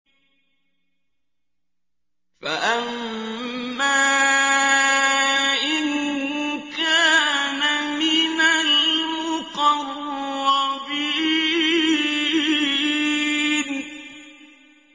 فَأَمَّا إِن كَانَ مِنَ الْمُقَرَّبِينَ